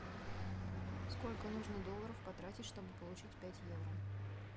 сколько нужно долларов потратить чтобы получить пять евро